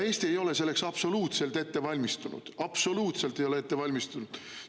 Eesti ei ole selleks absoluutselt valmistunud, absoluutselt ei ole valmistunud!